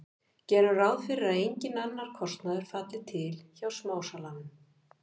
Gerum ráð fyrir að enginn annar kostnaður falli til hjá smásalanum.